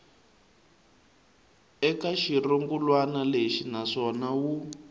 eka xirungulwana lexi naswona wu